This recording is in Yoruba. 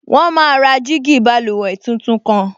Wọ́n máa ra jígí báluwẹ̀ tuntun kan